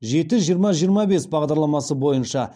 жеті жиырма жиырма бес бағдарламасы бойынша